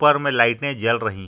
ऊपर मे लाइटे जल रही--